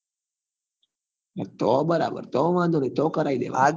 તો બરાબર તો વાંધો નહિ તો કરાઈ દેવા નું